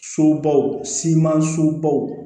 Sobaw simanso baw